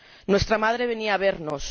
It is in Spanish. Nuestra madre venía a vernos.